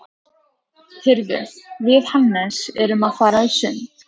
Heyrðu, við Hannes erum að fara í sund.